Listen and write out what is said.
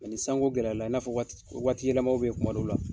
ni sanko gɛlɛyara la, i n'a fɔ waati yɛlɛmaw be yen kuma dɔw la